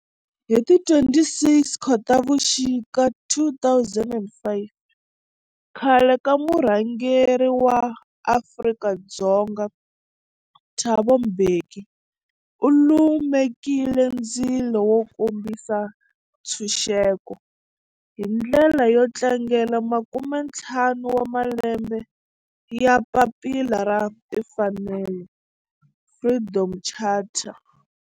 Hi ti 26 Khotavuxika 2005 khale ka murhangeri wa Afrika-Dzonga Thabo Mbeki u lumekile ndzilo wo kombisa ntshuxeko, hi ndlela yo tlangela makume-ntlhanu wa malembe ya papila ra timfanelo, Freedom Charter.